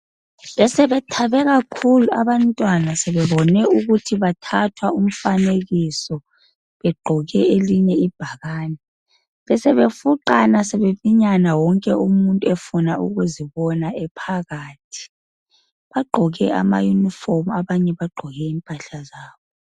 Besebethabe kakhulu abantwana, sebebone ukuthi bathathwa umfanekiso, begqoke elinye ibhakane. Besebefuqana sebeminyana wonke umuntu efuna ukuzibona ephakathi. Bagqoke amayunifomu, abanye bagqoke impahla zabo.